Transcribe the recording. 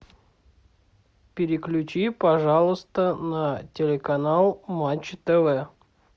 переключи пожалуйста на телеканал матч тв